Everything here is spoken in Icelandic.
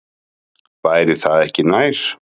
Væri það ekki nær?